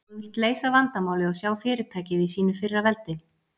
Ef þú vilt leysa vandamálið og sjá fyrirtækið í sínu fyrra veldi?